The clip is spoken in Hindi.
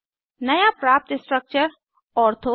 नया प्राप्त स्ट्रक्चर ortho जाइलीन है